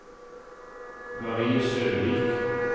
Marie Søvik